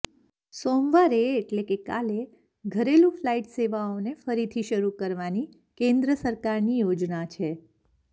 સોમવારે એટલે કે કાલે ઘરેલૂ ફ્લાઇટ સેવાઓને ફરીથી શરૂ કરવાની કેન્દ્ર સરકારની યોજના છે